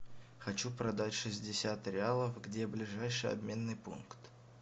хочу продать шестьдесят реалов где ближайший обменный пункт